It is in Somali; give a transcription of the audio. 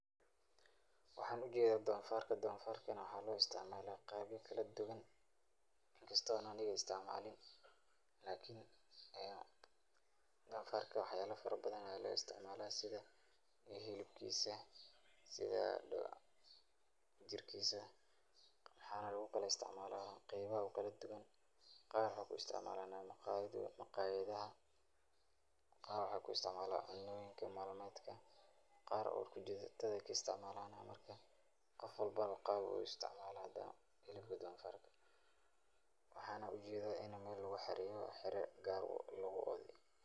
Waxaan ujeeda doofarka, doofarka na waxaa loo isticmaala qaabya kala duban in kasto aan aniga isticmaalin, lakin doofarka wax yaaba fara badan ayaa loo isticmaala sida hilibkiisa, sida jirkiisa waxaa lagu kala isticmaalaa qeybaha kala duban, qaar waxaay ku isticmaalana maqayadaha, qaar waxaay ku isticmaalana cunooyinka nolol malmeedka, qaar uu kujirtada ayeey ka isticmaalana, marka qof walbo qaab ayuu u isticmaala hilibka doofarka waxaana ujeeda in meel lagu xareeye oo xira lagu oode.